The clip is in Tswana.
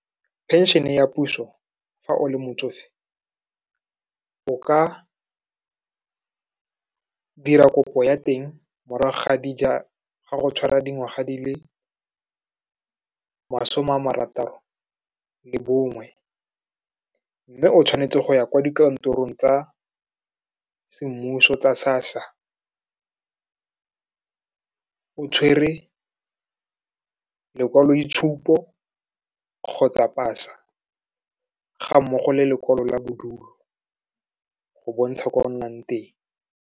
Pension-e ya puso fa o le motsofe, o ka dira kopo ya teng morago ga go tshwara dingwaga di le masome a marataro le bongwe, mme o tshwanetse go ya kwa dikantorong tsa semmuso tsa SASSA, o tshwere lekwaloitshupo kgotsa pasa, ga mmogo le lekwalo la bodulo, go bontsha kwa o nnang teng.